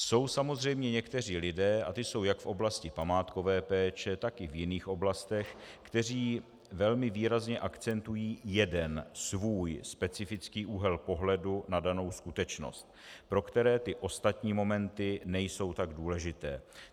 Jsou samozřejmě někteří lidé, a ti jsou jak v oblasti památkové péče, tak i v jiných oblastech, kteří velmi výrazně akcentují jeden svůj specifický úhel pohledu na danou skutečnost, pro které ty ostatní momenty nejsou tak důležité.